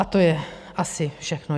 A to je asi všechno.